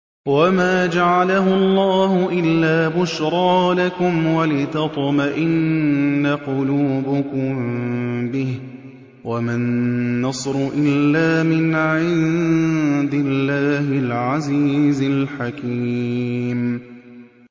وَمَا جَعَلَهُ اللَّهُ إِلَّا بُشْرَىٰ لَكُمْ وَلِتَطْمَئِنَّ قُلُوبُكُم بِهِ ۗ وَمَا النَّصْرُ إِلَّا مِنْ عِندِ اللَّهِ الْعَزِيزِ الْحَكِيمِ